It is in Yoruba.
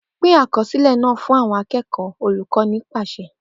Pin akọsilẹ naa fun awọn akẹkọ Olukọni paṣẹ